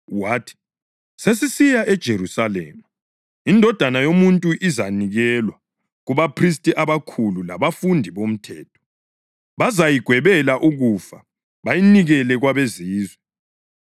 Wathi, “Sesisiya eJerusalema, iNdodana yoMuntu izanikelwa kubaphristi abakhulu labafundisi bomthetho. Bazayigwebela ukufa bayinikele kwabeZizwe,